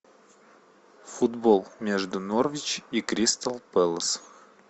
футбол между норвич и кристал пэлас